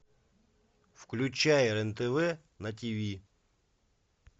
включай рен тв на тиви